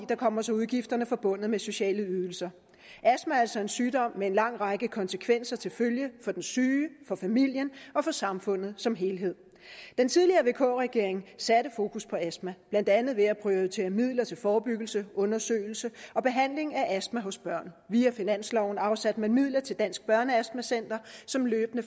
kommer så udgifterne forbundet med sociale ydelser astma er altså en sygdom med en lang række konsekvenser til følge for den syge for familien og for samfundet som helhed den tidligere vk regering satte fokus på astma blandt andet ved at prioritere midler til forebyggelse undersøgelse og behandling af astma hos børn via finansloven afsatte man midler til dansk børneastma center som løbende